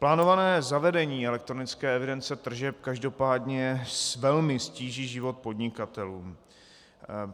Plánované zavedení elektronické evidence tržeb každopádně velmi ztíží život podnikatelům.